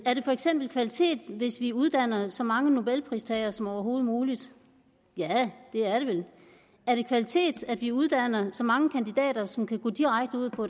for eksempel kvalitet hvis vi uddanner så mange nobelpristagere som overhovedet muligt ja det er det vel er det kvalitet at vi uddanner så mange kandidater som kan gå direkte ud på